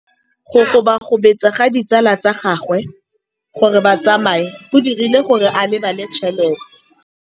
Go gobagobetsa ga ditsala tsa gagwe, gore ba tsamaye go dirile gore a lebale tšhelete.